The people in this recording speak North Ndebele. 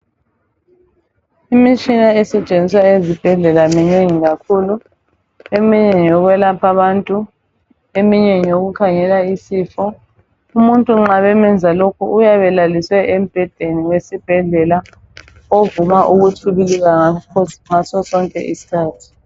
Imitshina esetshenziswa ezibhedlela minengi kakhulu .Eminye ngeyokwelapha bantu . Eminye ngeyokukhangela isifo .Umuntu nxa bemenza lokhu uyabe elaliswe embhedeni wesibhedlela ovuma ukutshibilika ngaso sonke iskhathi .